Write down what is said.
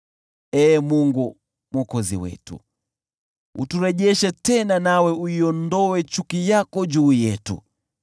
Ee Mungu Mwokozi wetu, uturejeshe tena, nawe uiondoe chuki yako juu yetu.